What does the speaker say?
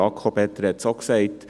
Jakob Etter hat es auch gesagt: